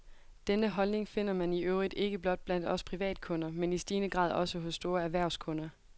Denne holdning finder man i øvrigt ikke blot blandt os privatkunder, men i stigende grad også hos store erhvervskunder.